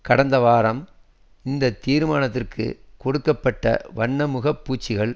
கடந்த வாரம் இந்த தீர்மானத்திற்குக் கொடுக்க பட்ட வண்ண முகப்பூச்சுக்கள்